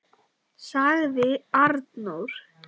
sagði Arnór.